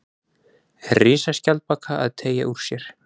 Risaskjaldbaka að teygja úr sér.